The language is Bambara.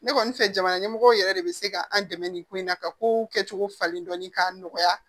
Ne kɔni fɛ jamana ɲɛmɔgɔw yɛrɛ de bɛ se ka an dɛmɛ nin ko in na ka kow kɛcogo falen dɔɔnin k'a nɔgɔya